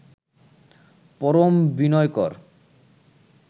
পরম বি্নয়কর